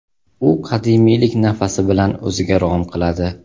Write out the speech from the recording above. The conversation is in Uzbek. U qadimiylik nafasi bilan o‘ziga rom qiladi.